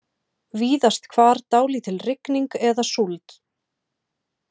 Víðast hvar dálítil rigning eða súld